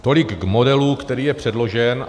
Tolik k modelu, který je předložen.